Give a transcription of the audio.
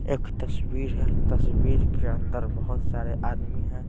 एक तस्वीर हैं तस्वीर के अंदर बहुत सारे आदमी हैं।